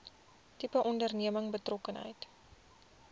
tipe onderneming betrokkenheid